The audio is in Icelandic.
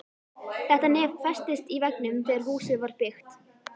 Þetta nef festist í veggnum þegar húsið var byggt.